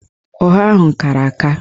Ọha ahụ kara aka